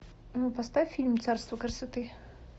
ну поставь фильм царство красоты